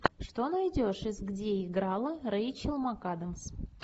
что найдешь из где играла рэйчел макадамс